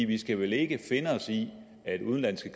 vi skal vel ikke finde os i at udenlandske